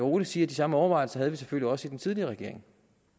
roligt sige at de samme overvejelser havde vi selvfølgelig også i den tidligere regering